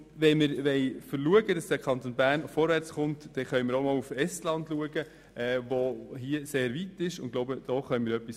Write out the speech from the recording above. Wenn wir dafür sorgen wollen, dass der Kanton Bern vorwärtskommt, können wir auch nach Estland blicken, das in dieser Hinsicht sehr weit fortgeschritten ist.